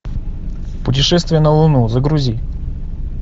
путешествие на луну загрузи